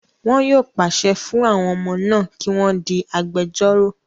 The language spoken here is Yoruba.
Wọn yóò pàṣẹ fún àwọn ọmọ náà kí wọ́n di agbejórò